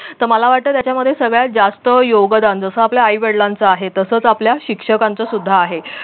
तर मला वाटत त्याच्यामध्ये सगळ्यात जास्त योगदान जस आपल्या आई वडिलांचं आहे तसेच आपल्या शिक्षकांचं सुद्धा आहे.